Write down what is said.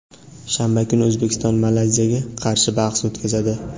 shanba kuni O‘zbekiston Malayziyaga qarshi bahs o‘tkazadi.